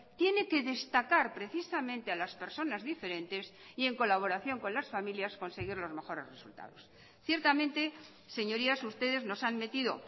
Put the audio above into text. tiene que destacar precisamente a las personas diferentes y en colaboración con las familias conseguir los mejores resultados ciertamente señorías ustedes nos han metido